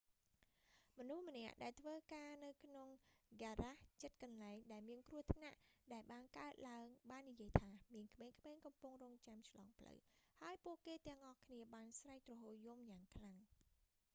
មនុស្សម្នាក់ ដែលធ្វើការនៅក្នុងហ្គារ៉ាសជិតកន្លែង ដែលមានគ្រោះថ្នាក់ដែលបានកើតឡើងបាននិយាយថា មានក្មេងៗកំពុងរង់ចាំឆ្លងផ្លូវ ហើយពួកគេទាំងអស់គ្នាបានស្រែកទ្រហោរយំយ៉ាងខ្លាំង